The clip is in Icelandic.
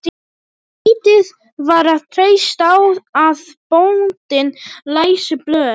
Lítið var að treysta á að bóndinn læsi blöð.